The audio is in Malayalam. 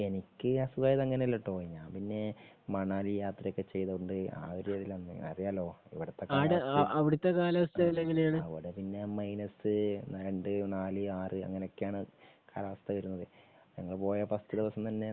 എനിക്ക് അസുഖം ആയത് അങ്ങനെ അല്ല ട്ടോ? ഞാൻ പിന്നെ മണാലി യാത്രയൊക്കെ ചെയ്തത് കൊണ്ട് ആ ഒരു രീതിയില് വന്നതാ അറിയാലോ ഇവിടെ അവിടെ പിന്നെ മൈനസ് രണ്ട് നാല് ആറ് അങ്ങനെയൊക്കെയാണ് കാലാവസ്ഥ വരുന്നത് . ഞങ്ങള് പോയ ഫസ്റ്റ് ദിവസം തന്നെ